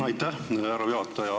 Aitäh, härra juhataja!